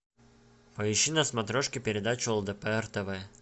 поищи на смотрешке передачу лдпр тв